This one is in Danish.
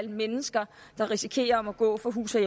mennesker der risikerer at måtte gå fra hus og